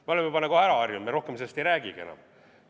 Me oleme juba nagu ära harjunud, rohkem sellest ei räägigi enam.